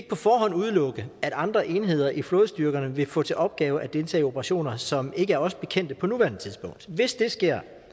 på forhånd udelukke at andre enheder i flådestyrkerne vil få til opgave at deltage i operationer som ikke er os bekendte på nuværende tidspunkt hvis det sker